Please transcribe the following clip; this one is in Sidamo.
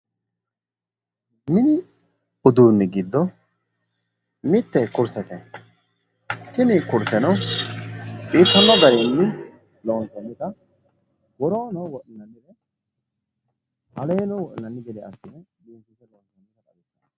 mini uduunni giddo mitte kursete, tini kurseno biiffanno garinni loonsoonita woorono wodhinanni aleeno wodhinanni gede assinoonnite.